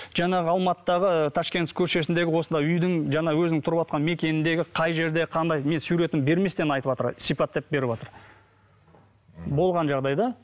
жаңағы алматыдағы ташкентский көшесіндегі осындай үйдің жаңағы өзінің тұрыватқан мекеніндегі қай жерде қандай мен суретін берместен айтыватыр сипаттап беріватыр болған жағдай да